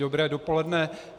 Dobré dopoledne.